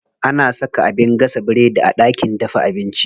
Ana saka abin gasa biredi a ɗakin dafa abinci.